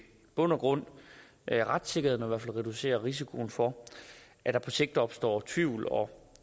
bund og grund retssikkerheden og reducerer risikoen for at der på sigt opstår tvivl og